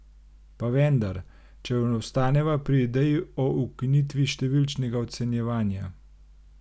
Pa vendar, če ostaneva pri ideji o ukinitvi številčnega ocenjevanja...